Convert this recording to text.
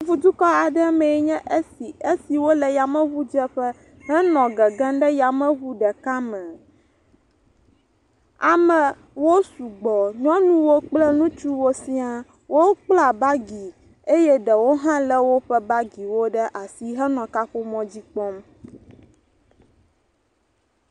Yevu dukɔ aɖe mee nye esi, esi wole yameŋudzeƒe henɔ gegem ɖe yameŋu ɖeka me. Amewo sugbɔ, nyɔnuwo kple ŋutsuwo siaa. Wokpla bagi eye ɖewo hã lé woƒe bagiwo ɖe asi henɔ kaƒomɔ dzi kpɔm.